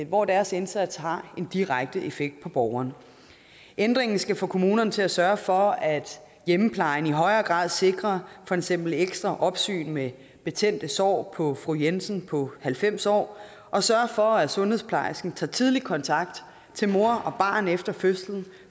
hvor deres indsats har en direkte effekt på borgeren ændringen skal få kommunerne til at sørge for at hjemmeplejen i højere grad sikrer for eksempel ekstra opsyn med betændte sår på fru jensen på halvfems år og sørge for at sundhedsplejersken tager tidlig kontakt til mor og barn efter fødslen